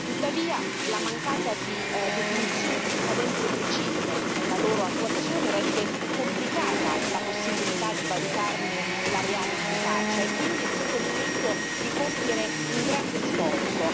Tuttavia, la mancata definizione di scadenze precise per la loro attuazione rende complicata la possibilità di valutarne la reale efficacia e, quindi, è giunto il momento di compiere un grande sforzo.